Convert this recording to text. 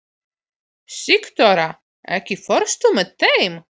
Sigþóra, ekki fórstu með þeim?